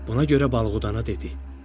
Buna görə balıqdana dedi: